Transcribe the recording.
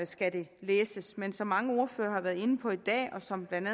skal det læses men som mange ordførere har været inde på i dag og som blandt